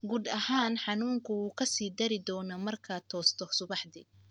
Guud ahaan, xanuunku wuu ka sii dari doonaa markaad toosto subaxdii.